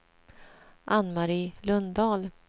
Anne-Marie Lundahl